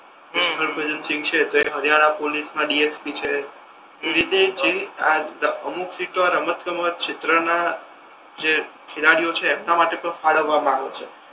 હમ હરભજન સિંઘ છે તો એ હરિયાણા પોલીસ મા ડીએસપી છે એવી રીતે જે આ અમુક સીટો આ રમત ગમત ક્ષેત્ર ના જે ખેલાડીયો છે એમના માટે તો ફળવવા મા આવે છે.